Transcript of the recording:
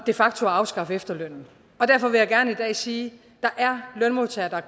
facto at afskaffe efterlønnen derfor vil jeg gerne i dag sige at der er lønmodtagere